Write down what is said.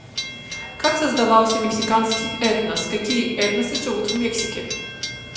как создавался мексиканский этнос какие этносы живут в мексике